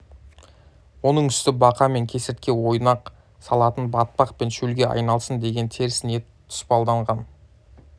оның үсті бақа мен кесіртке ойнақ салатын батпақ пен шөлге айналсын деген теріс ниет тұспалданған